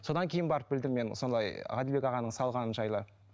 содан кейін барып білдім мен солай ғаділбек ағаның салғаны жайлы